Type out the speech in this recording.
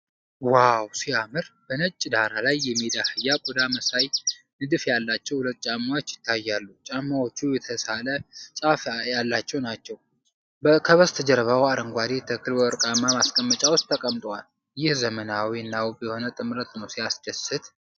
ዋው ሲያምር! በነጭ ዳራ ላይ የሜዳ አህያ ቆዳ መሳይ ንድፍ ያላቸው ሁለት ጫማዎች ይታያሉ። ጫማዎቹ የተሳለ ጫፍ ያላቸው ናቸው። ከበስተጀርባው አረንጓዴ ተክል በወርቃማ ማስቀመጫ ውስጥ ተቀምጧል። ይህ ዘመናዊ እና ውብ የሆነ ጥምረት ነው። ሲያስደስት!